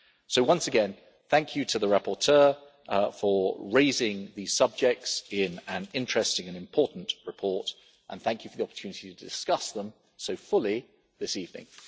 So once again thank you to the rapporteur for raising these subjects in an interesting and important report, and thank you for the opportunity to discuss them so fully this evening.